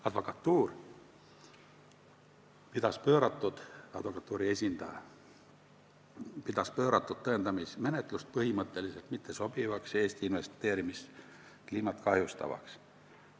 Advokatuuri esindaja pidas pööratud tõendamismenetlust põhimõtteliselt mittesobivaks ja Eesti investeerimiskliimat kahjustavaks.